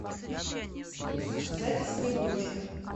запись снегурочка